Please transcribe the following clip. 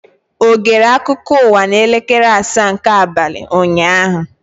Ọ gere akụkọ ụwa n'elekere asaa nke abalị ụnyaahụ?